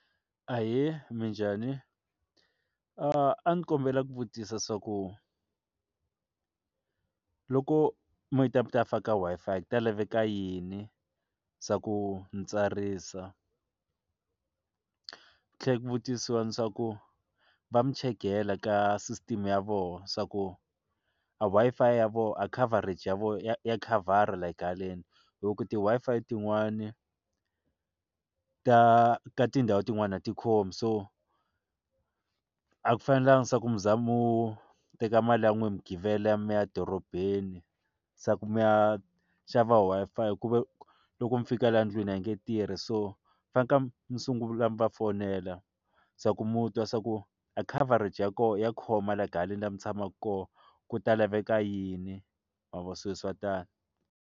Ahee, minjhani? a ni kombela ku vutisa swa ku loko mi ta faka Wi-Fi ku ta laveka yini, swa ku ni tsarisa ku tlhela ku vutisiwa ni swa ku va mi checkela ka sisiteme ya vona swa ku a Wi-Fi ya vona a coverage ya vona ya ya khavhara like haleni hi ku ti Wi-Fi tin'wani ta ka tindhawu tin'wani a tikhomi so a ku fanelangi swa ku mi za mu teka mali ya n'wina mi givela ya mi ya dorobeni swa ku mi ya xava Wi-Fi ku ve loko mi fika la ndlwini a yi nge tirhi so va nga sungula va fonela swa ku mi twa swa ku a coverage ya koho ya khoma laha haleni lama tshamaka kona ku ta laveka yini ma vo swi swa tani.